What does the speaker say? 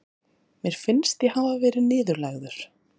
Mér finnst ég hafa verið niðurlægður.